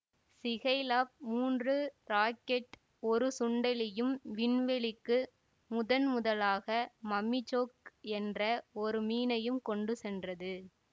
Skylab மூன்று rocket ஒரு சுண்டெலியும் விண்வெளிக்கு முதன்முதலாக மம்மிசோக் என்ற ஒரு மீனையும் கொண்டு சென்றது